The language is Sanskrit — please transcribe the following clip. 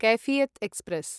कैफियत् एक्स्प्रेस्